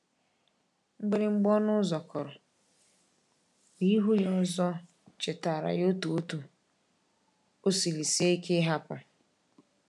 Mgbịrịmgba ọnụ ụzọ kụrụ, ma ịhụ ya ọzọ chetaara ya otú otú o siri sie ike ịhapụ.